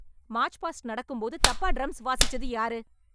March past நடக்கும் போது தப்பா டிரம்ஸ் வாசிச்சது யாரு?